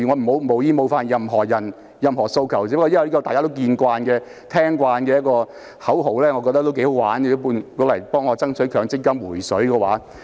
我無意冒犯任何人或任何訴求，只是覺得這些大家耳熟能詳的口號頗有趣，可以讓我用來爭取強積金"回水"。